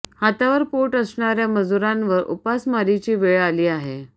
हातावर पोट असणाऱ्या मजुरांवर उपासमारीची वेळ आली आहे